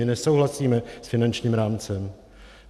My nesouhlasíme s finančním rámcem.